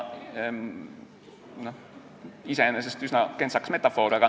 Iseenesest oli see üsna kentsakas metafoor.